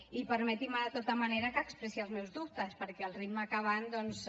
i permetin me de tota manera que expressi els meus dubtes perquè al ritme que van doncs